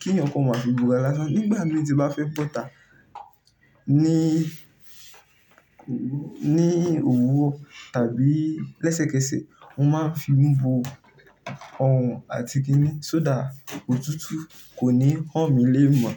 kí ẹnìkan máa fi búra lásán. Nígbà mí tí bá fẹ́ bọ́ta ní òwúro tàbí lẹ́sẹ̀kẹsẹ̀, mo máa ń fi n bo ọrùn àti gínì, só dá òtútù kò ní hán mi lée mọ̀.